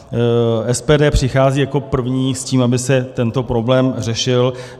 SPD přichází jako první s tím, aby se tento problém řešil.